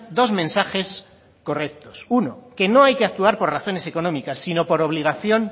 dos mensajes correctos uno que no hay que actuar por razones económicas sino por obligación